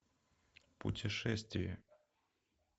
путешествие